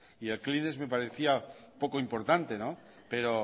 y el kleenex me parecía poco importante pero